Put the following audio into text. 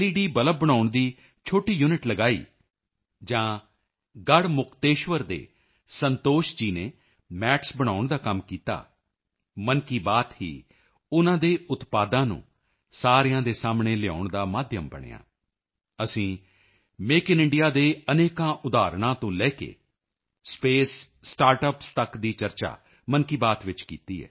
bulb ਬਣਾਉਣ ਦੀ ਛੋਟੀ ਯੂਨਿਟ ਲਗਾਈ ਜਾਂ ਗੜ੍ਹ ਮੁਕਤੇਸ਼ਵਰ ਦੇ ਸੰਤੋਸ਼ ਜੀ ਨੇ ਮੈਟਸ ਬਣਾਉਣ ਦਾ ਕੰਮ ਕੀਤਾ ਮਨ ਕੀ ਬਾਤ ਹੀ ਉਨ੍ਹਾਂ ਦੇ ਉਤਪਾਦਾਂ ਨੂੰ ਸਾਰਿਆਂ ਦੇ ਸਾਹਮਣੇ ਲਿਆਉਣ ਦਾ ਮਾਧਿਅਮ ਬਣਿਆ ਅਸੀਂ ਮੇਕ ਇਨ ਇੰਡੀਆ ਦੇ ਅਨੇਕਾਂ ਉਦਾਹਰਣਾਂ ਤੋਂ ਲੈ ਕੇ ਸਪੇਸ ਸਟਾਰਟਅੱਪਸ ਤੱਕ ਦੀ ਚਰਚਾ ਮਨ ਕੀ ਬਾਤ ਵਿੱਚ ਕੀਤੀ ਹੈ